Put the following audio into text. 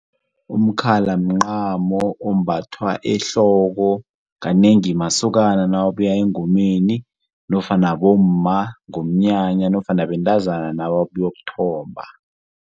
Umkhala mncamo ombathwa ehloko kanengi masokana nawabuya engomeni nofana bomma ngomnyanya nofana bentazana nababuyokuthomba.